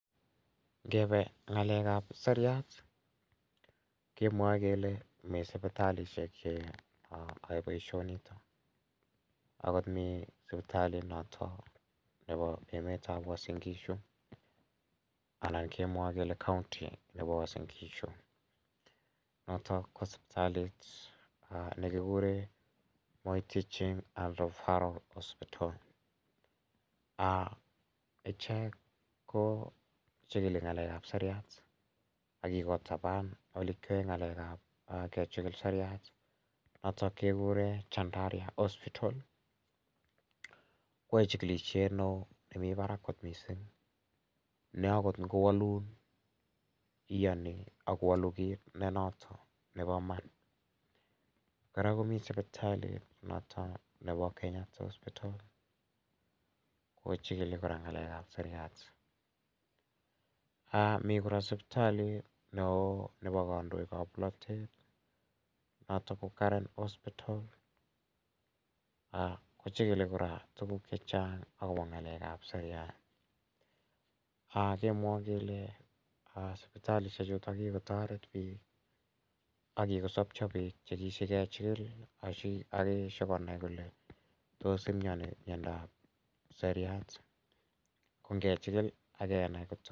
Ngepe ng'alek ap siriat kemwae kele mi sipitalishek che yae poishonitok. Akot mi sipitalit notok nepo emet ap Uasin Gishu anan kemwae kele kaunti nepo Uasin Gishu , notok ko siptalit ne kikure Moi Teaching and Refferal Hospital. Ichek ko chikili ng'alek ap siriat ak kikotapan ole kiyae ng'alek ap kechikil ng'alek ap siriat ak kikotapan ole kiyae ng'alek ap kechikil siriat, notok kekure Chandaria Hospital. Ko yae chikilishet ne oo ,nemi parak kot missing' ,ne akot ngowalun kiyani ako walu kiit notok nepo iman. Kora komi sipitalit notok nepo Kenyatta Hospital, ko chikili ng'alek ap siriat. Mi kora siptalit ne oo nepo kandoikap polatet notok ko Karen Hospital, ko chikili kora tuguk che chang' akopa ng'alek ap siriat. Kemwaun kele sipitalishechutok kikotaret pik ako kikosapcha pik che kishikechikil ako kishukonai kole tos imiani miondoap siriat? Ko ngechikil ak kenai..